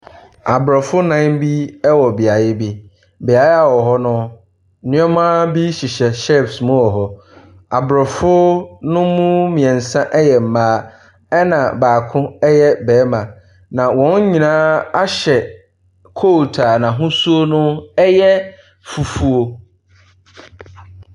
Aborɔfo nan bi wɔ beaeɛ bi, beaeɛ a wɔwɔ no nneɛma bi hyehyɛ shells mu wɔ hɔ. Aborɔfo no mu mmiɛnsa yɛ na baako yɛ barima. Na wɔn nyinaa ahyɛ coat a n'asuo yɛ fufuo.